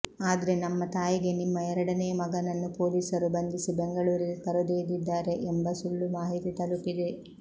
ಆದ್ರೆ ನಮ್ಮ ತಾಯಿಗೆ ನಿಮ್ಮ ಎರಡನೇ ಮಗನನ್ನು ಪೊಲೀಸರು ಬಂಧಿಸಿ ಬೆಂಗಳೂರಿಗೆ ಕರೆದೊಯ್ಯಿದಿದ್ದಾರೆ ಎಂಬ ಸುಳ್ಳು ಮಾಹಿತಿ ತಲುಪಿದೆ